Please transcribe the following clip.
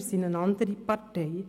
Wir sind eine andere Partei.